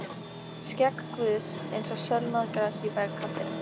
Skegg Guðs eins og sölnað gras í vegkantinum.